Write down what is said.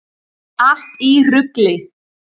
Allt í rugli!